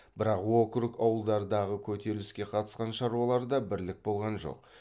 бірақ округ ауылдарыдағы көтеріліске қатысқан шаруаларда бірлік болған жоқ